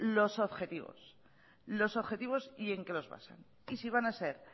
los objetivos y en qué los basa y si van a ser